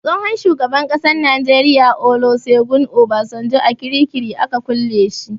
Tsohon shugaban ƙasan Najeriya Olusegun Obasanjo a kirikiri aka kulle shi.